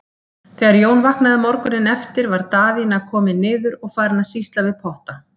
Þegar Jón vaknaði morguninn eftir var Daðína komin niður og farin að sýsla við potta.